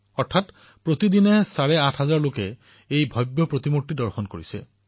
ইয়াৰ অৰ্থ হল প্ৰতিদিনে প্ৰায় চাৰে আঠহাজাৰ লোকে ষ্টেচু অব্ ইউনিটীৰ ভব্যতা পৰিদৰ্শন কৰিছে